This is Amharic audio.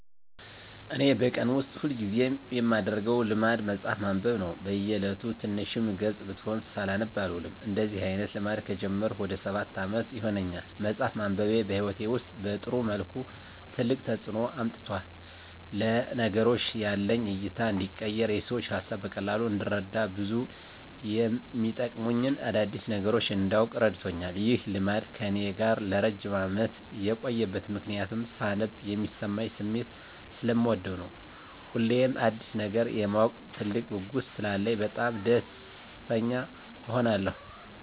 እኔ በቀን ውስጥ ሁል ጊዜ የማደረገው ልማድ መጽሀፍ ማንበብ ነው። በ እየለቱ ትንሽም ገፅ ብትሆን ሳላነብ አልውልም። እንደዚህ አይነት ልማድ ከጀመርኩ ወደ ሰባት አመት ይሆናል። መፅሃፍ ማንበቤ በህይወቴ ውስጥ በጥሩ መልኩ ትልቅ ተፅዕኖ አምጥቷል። ለነገሮች ያለኝ እይታ እንዲቀየር፣ የሰዎችን ሀሳብ በቀላሉ እንድረዳ፣ ብዙ የመጠቅሙኝን አዳዲስ ነገሮች እንዳውቅ እረድቶኛል። ይህ ልማድ ከእኔ ጋር ለረጅም አመት የቆየበት ምክንያትም ሳነብ የሚሰማኝን ስሜት ሰለምወደው ነው። ሁሌም አዲስ ነገር የማወቅ ትልቅ ጉጉት ስላለኝ በጣም ደስተኛ እሆናለሁ።